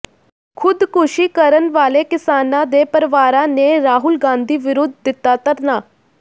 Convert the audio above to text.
ਖ਼ੁਦਕੁਸ਼ੀ ਕਰਨ ਵਾਲੇ ਕਿਸਾਨਾਂ ਦੇ ਪਰਵਾਰਾਂ ਨੇ ਰਾਹੁਲ ਗਾਂਧੀ ਵਿਰੁਧ ਦਿਤਾ ਧਰਨਾ